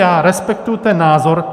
Já respektuji ten názor.